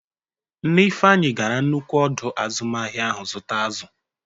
Nne Ifeanyi gara nnukwu ọdọ azụmahịa ahụ zụta azụ.